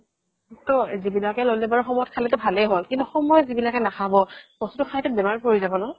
তৌ যিবিলাকে ল্'লে বাৰু সময়ত খালেতো ভালে হ'ল কিন্তু সময় যিবিলাকে নাখাব বস্তুতো খাইটো বেমাৰত পৰি যাব ন